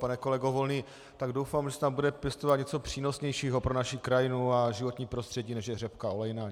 Pane kolego Volný, tak doufám, že se tam bude pěstovat něco přínosnějšího pro naši krajinu a životní prostředí, než je řepka olejná.